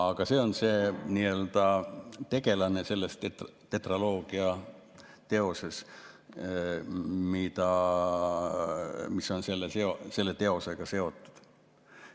Aga see on tegelane selles tetraloogias, mis on selle teosega seotud.